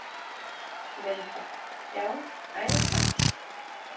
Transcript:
Linda: Já, æðislegt?